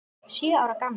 Sjö ára gamlar.